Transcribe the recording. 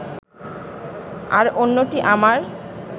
আর অন্যটি আমার